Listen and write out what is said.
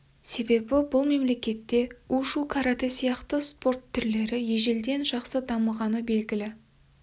себебі бұл мемлекетте у-шу каратэ сияқты спорт түрлері ежелден жақсы дамығаны белгілі